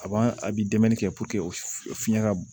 A b'a a bi dɛmɛ kɛ o fiɲɛ ka b